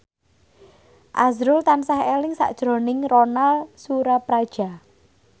azrul tansah eling sakjroning Ronal Surapradja